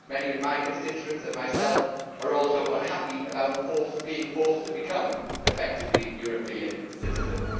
Many of my constituents and myself are also unhappy about being forced to become, effectively, European citizens.